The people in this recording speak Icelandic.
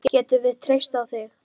Getum við treyst á þig?